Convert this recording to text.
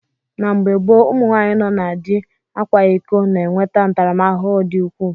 Na mgbe gboo, ụmụ nwaanyị nọ na di akwa iko na-enweta ntaramahụhụ dị ukwuu.